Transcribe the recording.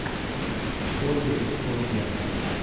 с ольгой куриленко